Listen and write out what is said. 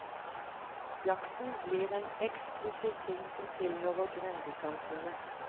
Jakten blir en eksklusiv ting som tilhører grendesamfunnet.